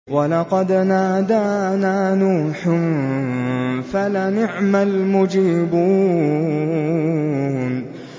وَلَقَدْ نَادَانَا نُوحٌ فَلَنِعْمَ الْمُجِيبُونَ